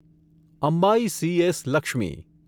Ambai C S. Lakshmi